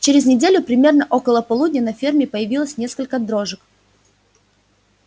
через неделю примерно около полудня на ферме появилось несколько дрожек